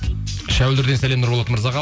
шәуілдірден сәлем нұрболат мырзаға